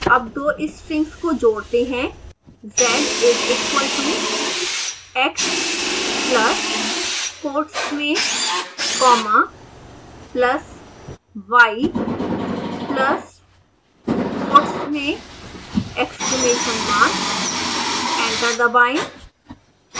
अब दो strings को जोड़ते हैं